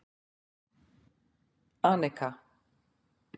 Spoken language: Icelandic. Anika